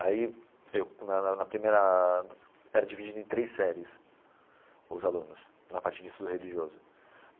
Aí eu, na na na primeira, era dividido em três séries, os alunos, na parte de estudo religioso.